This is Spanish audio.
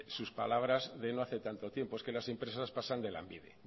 sus palabras de no hace tanto tiempo es que las empresas pasan de lanbide